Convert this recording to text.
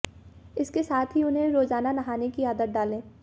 इसके साथ ही उन्हें रोजाना नहाने की आदत डालें